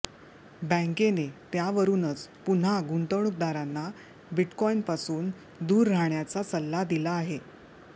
बँकेने त्यावरुनच पुन्हा गुंतवणुकदरांना बिटकाईनपासून दूर राहण्याचा सल्ला दिला आहे